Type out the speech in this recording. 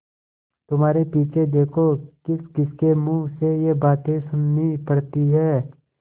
तुम्हारे पीछे देखो किसकिसके मुँह से ये बातें सुननी पड़ती हैं